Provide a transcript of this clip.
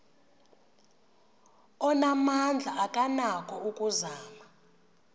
onamandla akanako ukuzama